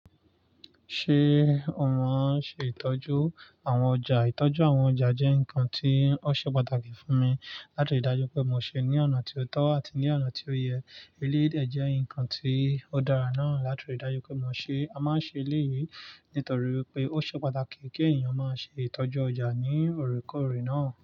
Ṣé o maa n ṣe ìtọ́jú àwọn ọjà? Ìtọ́jú àwọn ọjà jẹ́ nǹkan tí ó ṣe pàtàkì fún mi láti rí dájú pé mo ṣe é ní ọ̀nà tí ó tọ́ àti ní ọ̀nà tí ó yẹ. Eleyii dẹ jẹ́ nǹkan tí ó dára náà láti rí dájú pé mo ṣe é. A máa ń ṣe eleyìí nítorí wipé ó ṣe pàtàkì kí ènìyàn máa ṣe ìtọ́jú ọjà ní oòrékòorè náà.